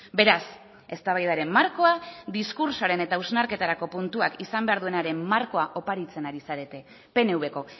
beraz eztabaidaren markoa diskurtsoaren eta hausnarketarako puntuak izan behar duenaren markoa oparitzen ari zarete pnvko